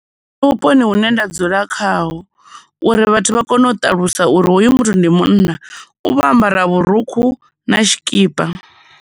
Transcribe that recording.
Nṋe vhuponi hune nda dzula khaho, uri vhathu vha kone u ṱalusa uri hoyu muthu ndi munna u vha ambara vhurukhu na tshikipa.